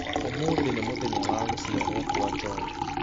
Ũmũthĩ nĩ mũthenya wa gũciarwo kwa John